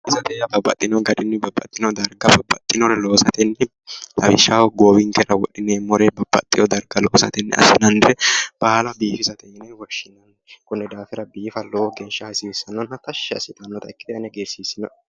Biifisate yaa babbaxxino garinni babbxxinore loosate lawishshaho goowinkera wodhineemmore babbaxewo daraga loosatenni afi'neemmore baala biifisate yine woshshinanni, konni daafira biifa lowo geeshsha tashshi assitannota ikkite ane hagiirsiissinoe.